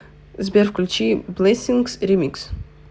сбер включи блэссингс ремикс